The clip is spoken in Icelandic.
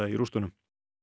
í rústunum